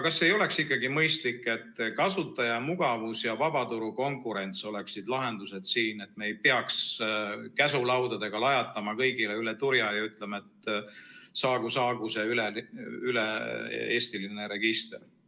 Kas ei oleks ikkagi mõistlik, et kasutaja mugavus ja vabaturu konkurents oleksid siin lahendused, et me ei peaks käsulaudadega lajatama kõigile üle turja ja ütlema, et saagu see üle-eestiline register?